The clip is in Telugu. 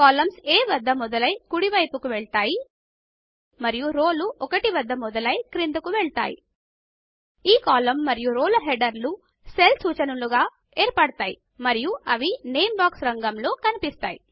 కాలమ్స్ A వద్ద మొదలై కుడి వైపుకి వెళ్తాయి మరియు రోలు ఒకటి వద్ద మొదలై క్రిందకు వెళ్తాయి ఈ కాలమ్ మరియు రో హెడర్లు సెల్ సూచనలలాగా ఏర్పడ్తాయి మరియు అవి నేమ్ బాక్స్ రాగంలో కనిపిస్తాయి